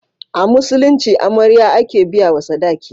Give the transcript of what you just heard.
A Musulunci amarya. ake biya wa sadaki